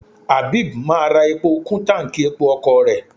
Abeeb máa ra epo kú táǹkì epo ọkọ̀ rẹ̀.